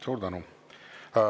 Suur tänu!